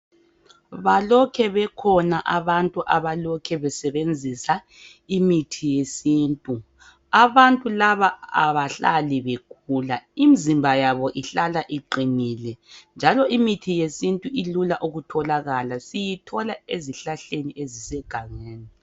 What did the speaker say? Balokhe bekhona abantu abalokhe besebenzisa imithi yesintu, abantu laba abahlali begula imizimba yabo ihlala iqinile njalo imithi yesintu ilula ukutholalaka siyithola ezihlahleni ezisegangeni.